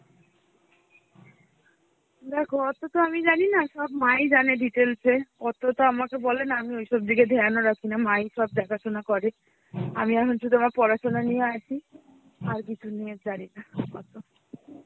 দেখো অতটা আমি জানি না সব মা ই জানে details এ অতো তো আমাকে বলে না আমি ওইসব দিকে ধ্যান ও রাখি না মা এইসব দেখাশোনা করে আমি এখন শুধু আমার পড়াশুনা নিয়ে আছি. আর কিছু নিয়ে জানি না আপাতত.